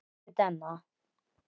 Elsku Denna.